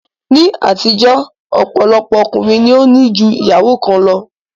Ní àtijó ọ̀pọ̀lọpọ̀ ọkùnrin ni ó ní ju ìyàwó kan lọ